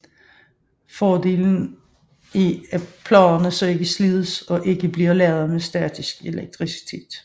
Fordelen er at pladerne så ikke slides og ikke bliver ladet med statisk elektricitet